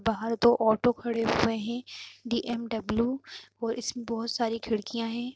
बहार दो ओटो खड़े हुए हैं दी.एम.डब्ल्यू और इसमें बोहोत सारी खिडकियां हैं।